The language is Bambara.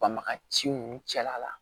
Banbagaciw cɛla la